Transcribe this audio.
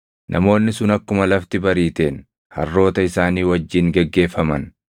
Namoonni sun akkuma lafti bariiteen harroota isaanii wajjin geggeeffaman.